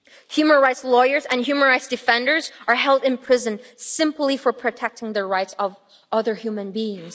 Human rights lawyers and human rights defenders are held in prison simply for protecting the rights of other human beings.